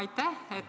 Aitäh!